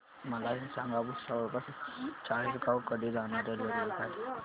मला हे सांगा भुसावळ पासून चाळीसगाव कडे जाणार्या रेल्वेगाडी